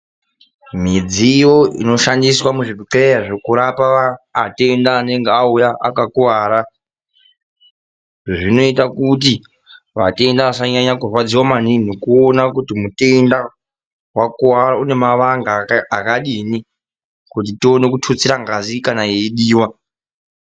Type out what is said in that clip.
Midziyo inoshandisw muzvibhehlera yekurape atenda anenge auya akakuwara zvinoioita kuti atenda asanyanya kurwadziwa maningi ,mekuona kuti mutenda akuwara unemavanga akadini kuti tione kututsira ngazi kana yeidiwa.